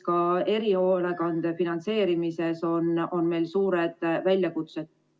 Ka erihoolekande finantseerimises on meil suured väljakutsed.